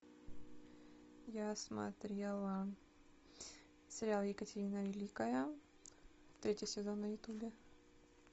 я смотрела сериал екатерина великая третий сезон на ютубе